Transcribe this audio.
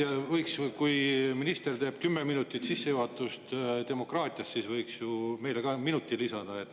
No tõesti, kui minister teeb kümneminutilise sissejuhatuse demokraatiasse, siis võiks ju meile ka minuti lisada.